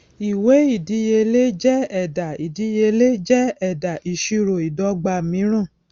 ìwé ìdíyelé jẹ ẹdà ìdíyelé jẹ ẹdà ìṣirò ìdọgba mìíràn